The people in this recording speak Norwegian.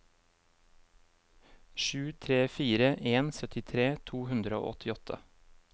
sju tre fire en syttitre to hundre og åttiåtte